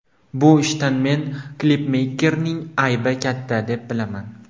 Bu ishda men klipmeykerning aybi katta, deb bilaman.